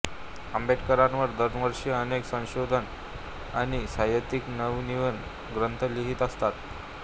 आंबेडकरांवर दरवर्षी अनेक संशोधक आणि साहित्यिक नवनवीन ग्रंथ लिहित असतात